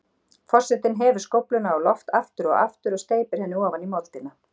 Forsetinn hefur skófluna á loft aftur og aftur og steypir henni ofan í moldina.